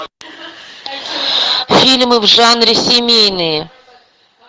фильмы в жанре семейные